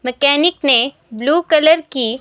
mechanic ने blue colour की--